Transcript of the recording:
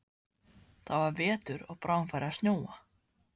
Það var vetur og bráðum færi að snjóa.